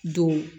Don